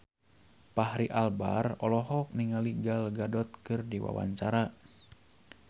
Fachri Albar olohok ningali Gal Gadot keur diwawancara